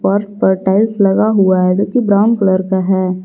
फर्स पर टाइल्स लगा हुआ है जो कि ब्राउन कलर का है।